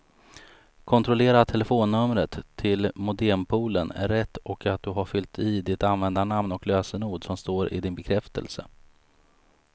Kontrollera att telefonnumret till modempoolen är rätt och att du har fyllt i det användarnamn och lösenord som står i din bekräftelse.